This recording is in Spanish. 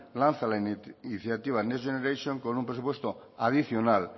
lanza la iniciativa next generation con un presupuesto adicional